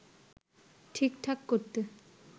ঠিকঠাক করতে